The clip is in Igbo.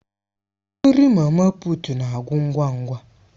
Nri mama puut na-agwụ ngwa ngwa.